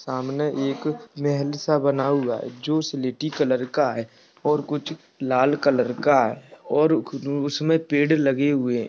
सामने एक महल सा बना हुआ है जो स्लेटी कलर का है और कुछ लाल कलर का है और उसमें पेड़ लगे हुए है।